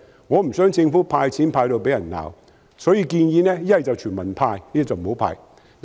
我不想政府因"派錢"而被罵，所以才建議要麼全民"派錢"，否則便不要"派錢"。